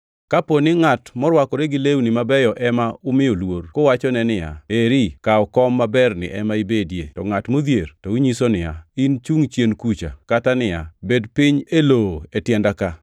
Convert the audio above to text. Kapo ni ngʼat morwakore gi lewni mabeyo ema umiyo luor, kuwachone niya, “Eri, kaw kom maberni ema ibedie,” to ngʼat modhier to unyiso niya, “In chungʼ chien kucha,” kata niya, “Bedi piny e lowo e tienda ka,”